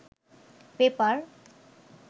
paper